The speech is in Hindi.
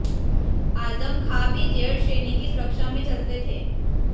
आजम खां भी जेड श्रेणी की सुरक्षा में चलते थे